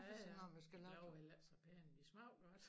Ja ja de blev heller ikke så pæne men de smagte godt